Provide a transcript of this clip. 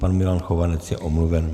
Pan Milan Chovanec je omluven.